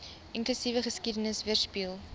inklusiewe geskiedenis weerspieël